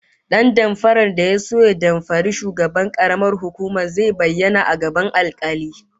Dan damfarar da ya so ya damfari shugaban karamar hukumar zai bayyana a gaban alkali